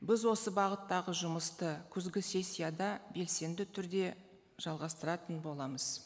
біз осы бағыттағы жұмысты күзгі сессияда белсенді түрде жалғастыратын боламыз